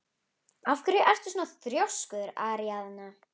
Af hverju ertu svona þrjóskur, Aríaðna?